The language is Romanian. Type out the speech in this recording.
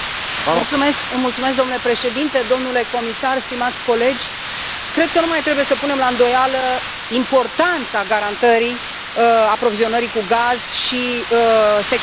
Domnule președinte, domnule comisar, stimați colegi, cred că nu mai trebuie să punem la îndoială importanța garantării aprovizionării cu gaz și securitatea energetică.